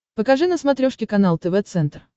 покажи на смотрешке канал тв центр